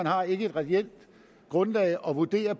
har et reelt grundlag at vurdere